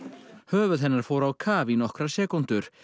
höfuð hennar fór á kaf í nokkrar sekúndur